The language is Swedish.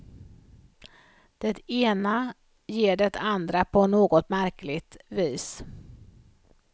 Det ena ger det andra på något märkligt vis.